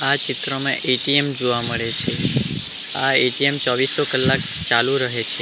આ ચિત્રમાં એ_ટી_એમ જોવા મળે છે આ એ_ટી_એમ ચોવીસો કલાક ચાલુ રહે છે.